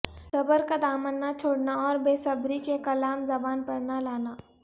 صبر کا دامن نہ چھوڑنا اور بےصبری کے کلام زبان پر نہ لانا